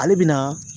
Ale bɛ na